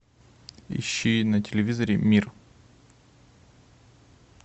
ищи на телевизоре мир